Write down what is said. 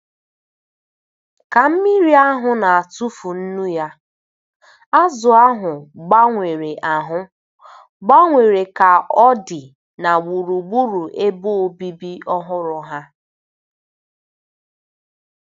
Ka mmiri ahụ na-atụfu nnu ya, azụ̀ ahụ gbanwere ahụ gbanwere ka ọ dị na gburugburu ebe obibi ọhụrụ ha.